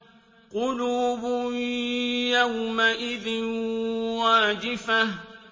قُلُوبٌ يَوْمَئِذٍ وَاجِفَةٌ